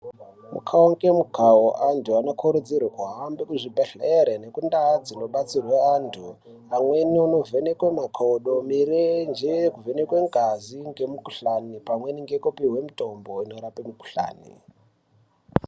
Mukau ngemukau antu anokurudzirwa kuhambe kuzvibhedhlere nekundaa dzinobatsirwe antu. Amweni onovhekwe makodo, mirenje, kuvhenekwe ngazi ngemikuhlani pamweni ngekupihwe mitombo inorape mukuhlani.